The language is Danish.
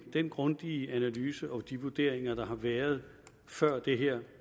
den grundige analyse og de vurderinger der har været før det her